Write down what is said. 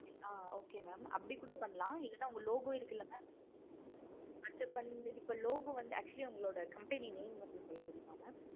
ஆஹ் okay mam அப்படி கூட பண்ணலாம். இல்லைனா உங்க logo இருக்குல்ல mam அதுல பண்ணலாம் logo வந்து actually உங்களுடைய company name வந்து சொல்ல முடியுமா? mam